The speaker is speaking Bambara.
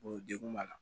degun b'a la